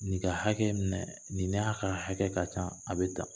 Nin ka hakɛ minɛ nin'a ka hakɛ ka kan a bɛ tan